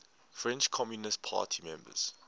french communist party members